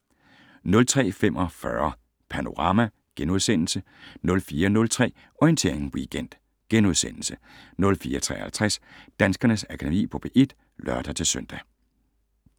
03:45: Panorama * 04:03: Orientering Weekend * 04:53: Danskernes Akademi på P1 *(lør-søn)